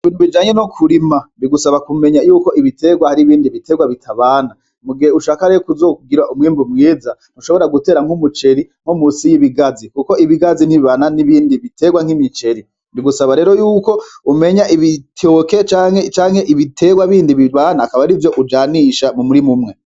Ibintu bijanye no kirima bigusaba kumenya ko ibiterwa hari ibindi biterwa bitabana mu gihe ushaka kuzogira umwimbu mwiza ntushobora gutera nku muceri nko munsi y'ibigazi kuko ibigazi ntibibana n'ibindi biterwa nki miceri bigusaba rero yuko umenya ibitoki canke ibiterwa bindi bibana akaba arivyo ujanisha mu murima umwe.